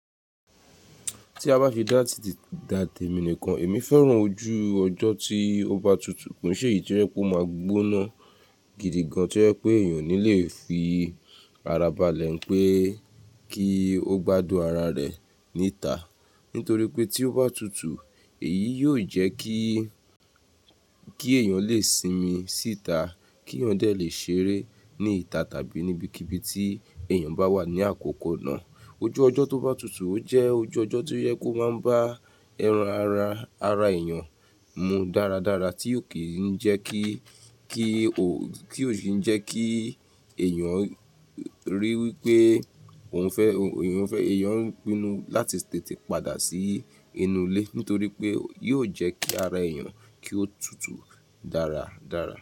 Tí a bá fi dá tì èmi nìkan, èmi fẹ́ràn ojú ọjọ́ tí ó bá tutù kii sé èyí to je pé ó máa gbóná gidi gan. Tí o jẹ pé èèyàn ò ní le fi ara balẹ̀, n pé kí ó gbádùn ara rẹ̀ níta. Nítorí pé tí ó bá tutù, èyí yóò jẹ́ kí, kí èèyàn lè sinmi síta, kí èèyàn de lè ṣeré níta tàbí níbikíbi tí èèyàn bá wà ní àkókò náà. Ojú ọjọ́ tó bá tutù, o jẹ́ ojú ọjọ́ tí ó yẹ kó máa ń bá ẹran ara, ara èèyàn mu dáradára, tí ó kì í jẹ́ kí, kí ó, ti o kí ń jẹ́ kí èèyàn rí i wí pé, èèyàn fẹ́, èèyàn ń pinnu láti tètè padà sí inú ilé. Nítorí pé yóò jẹ́ kí ara èèyàn kí ó tutù dáradára.